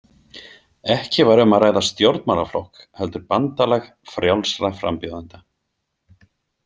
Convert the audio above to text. Ekki var um að ræða stjórnmálaflokk heldur bandalag frjálsra frambjóðenda.